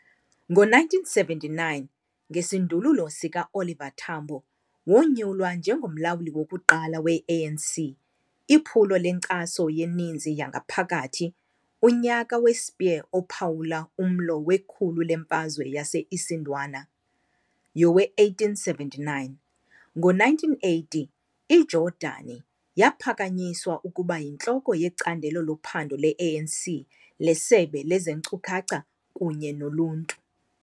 Ngo-1979, ngesindululo sikaOliver Tambo, wonyulwa njengomlawuli wokuqala we-ANC iphulo lenkcaso yeninzi yangaphakathi, unyaka we-Spear, ophawula umlo wekhulu leMfazwe yase-Isandwana yowe-1879. Ngo-1980, iJordani yaphakanyiswa ukuba yintloko yeCandelo loPhando le-ANC leSebe lezeNkcukacha kunye noluntu.